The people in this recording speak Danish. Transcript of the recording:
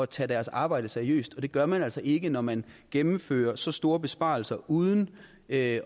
tage deres arbejde seriøst og det gør man altså ikke når man gennemfører så store besparelser uden at